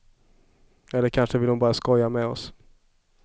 Eller kanske ville hon bara skoja med oss.